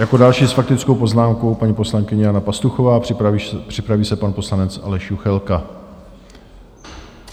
Jako další s faktickou poznámkou paní poslankyně Jana Pastuchová, připraví se pan poslanec Aleš Juchelka.